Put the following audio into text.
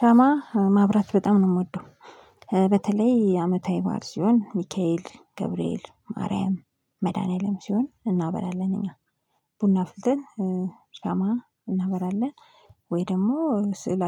ሻማ ማብራት በጣም ነው የምወደው በተለይ አመታዊ ባእል ሲሆን ሚካኤል ገብርኤል ማርያም መድኃኒዓለም ሲሆን እናበራለን እኛ። ቡና አፍልተን ሻማ እናበራለን ወይ ደግሞ ስዕል